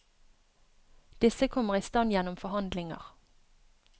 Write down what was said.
Disse kommer i stand gjennom forhandlinger.